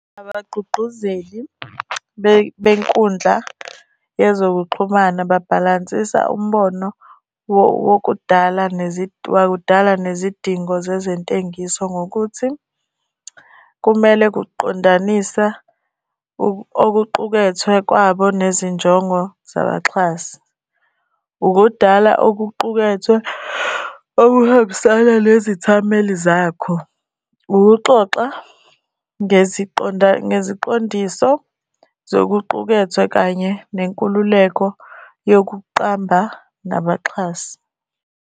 Abagqugquzeli benkundla yezokuxhumana babhalansisa umbono wokudala wakudala nezidingo zezentengiso ngokuthi kumele kuqondanisa okuqukethwe kwabo nezinjongo zabaxhasi. Ukudala okuqukethe okuhambisana nezithameli zakho. Ukuxoxa ngeziqondiso zokuqukethwe kanye nenkululeko yokuqamba ngabaxhasi.